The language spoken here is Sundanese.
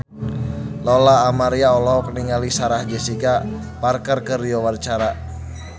Lola Amaria olohok ningali Sarah Jessica Parker keur diwawancara